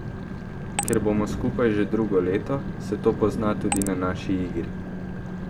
Ker bomo skupaj že drugo leto, se to pozna tudi na naši igri.